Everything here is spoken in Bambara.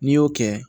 N'i y'o kɛ